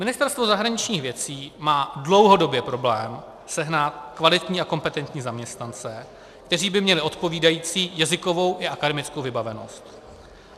Ministerstvo zahraničních věcí má dlouhodobě problém sehnat kvalitní a kompetentní zaměstnance, kteří by měli odpovídající jazykovou a akademickou vybavenost.